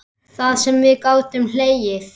Það sem við gátum hlegið.